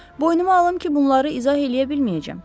Boynuma alım ki, bunları izah eləyə bilməyəcəyəm.